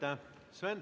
Aitäh!